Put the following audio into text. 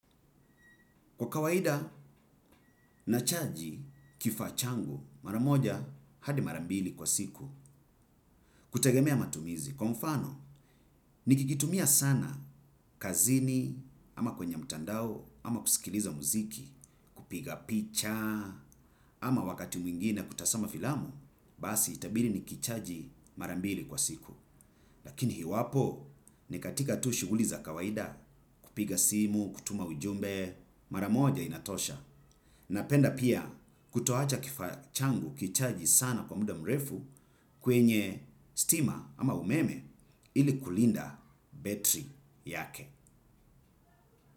Kwa kawaida nachaji kifaa changu. Maramoja hadi mara mbili kwa siku. Kutagemea matumizi kwa mfano nikikitumia sana kazini ama kwenye mtandao ama kusikiliza mziki kupiga picha ama wakati mwingine kutazama filamu basi itabidi nikichaji mara mbili kwa siku. Lakini iwapo ni katika tu shughuli za kawaida kupiga simu, kutuma ujumbe, maramoja inatosha. Napenda pia kutoacha kifaa changu kichaji sana kwa muda mrefu kwenye stima ama umeme ili kulinda betri yake.